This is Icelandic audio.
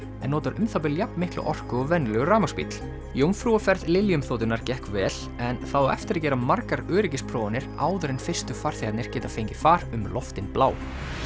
en notar um það bil jafn mikla orku og venjulegur rafmagnsbíll jómfrúarferð Lilium þotunnar gekk vel en það á eftir að gera margar öryggisprófanir áður en fyrstu farþegarnir geta fengið far um loftin blá